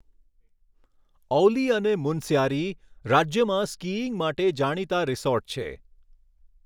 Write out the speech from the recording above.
ઔલી અને મુનસ્યારી, રાજ્યમાં સ્કીઈંગ માટે જાણીતા રિસોર્ટ છે.